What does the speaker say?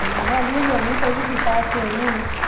ਹਾਡੀ ਹਜੇ ਆਉਣੀ ਪਹਿਲੀ ਕਿਸ਼ਤ ਆਹ ਛੇਵੇਂ ਮਹੀਨੇ।